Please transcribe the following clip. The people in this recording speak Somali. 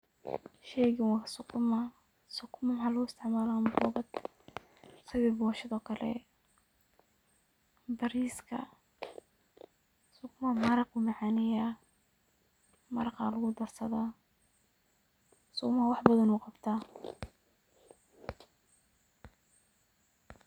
Sheygan wa sukuma, sukuma waxa luguisticmala ambogada boshado kale, bariska. Sukuma maraya ayu macaneya maraqa lugudarsada wax badana wu qabta.